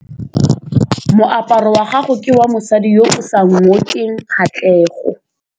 Moaparô wa gagwe ke wa mosadi yo o sa ngôkeng kgatlhegô.